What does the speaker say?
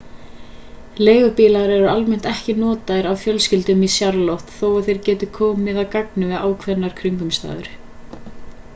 leigubílar eru almennt ekki notaðir af fjölskyldum í charlotte þó að þeir geti komið að gagni við ákveðnar kringumstæður